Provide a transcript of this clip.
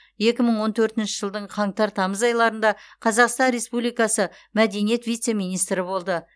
екі мың он төртінші жылдың қаңтар тамыз айларында қазақстан республикасы мәдениет вице министрі болды